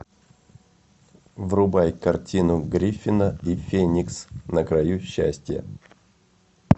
врубай картину гриффина и феникс на краю счастья